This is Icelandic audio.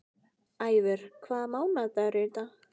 Ævör, hvaða mánaðardagur er í dag?